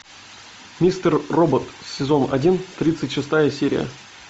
мистер робот сезон один тридцать шестая серия